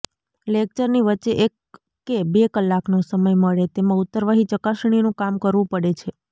લેકચરની વચ્ચે એક કે બે કલાકનો સમય મળે તેમાં ઉત્તરવહી ચકાસણીનું કામ કરવું પડે છે